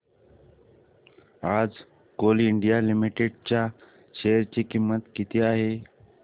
आज Coal India Limited च्या share ची किंमत किती आहे